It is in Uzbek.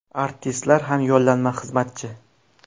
Artistlar ham yollanma xizmatchi.